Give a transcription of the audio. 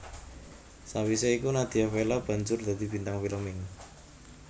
Sawisé iku Nadia Vella banjur dadi bintang film ing